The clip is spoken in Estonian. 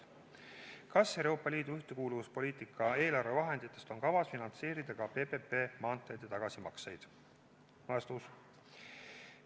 Kas EL-i ühtekuuluvuspoliitika eelarvevahenditest on kavas finantseerida ka PPP maanteede tagasimakseid?